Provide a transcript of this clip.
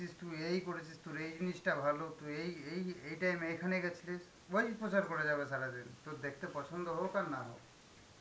তুই এই করেছিস, তোর এই জিনিসটা ভালো, তোর এই এই~ এই time এ এখানে গেছিলিস, ওই প্রচার করে যাবে সারাদিন, তোর দেখতে পছন্দ হোক আর না হোক.